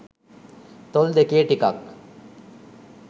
තොල් දෙකේ ටිකක්